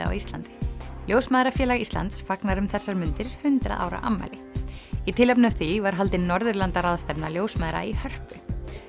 á Íslandi ljósmæðrafélag Íslands fagnar um þessar mundir hundrað ára afmæli í tilefni af því var haldin ljósmæðra í Hörpu